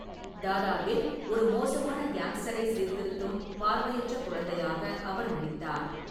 தாதாவில் ஒரு மோசமான கேங்ஸ்டரை சீர்திருத்தும் பார்வையற்ற குழந்தையாக அவர் நடித்தார்.